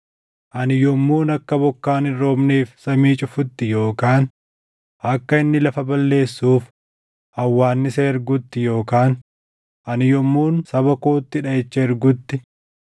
“Ani yommuun akka bokkaan hin roobneef samii cufutti yookaan akka inni lafa balleessuuf hawwaannisa ergutti yookaan ani yommuun saba kootti dhaʼicha ergutti,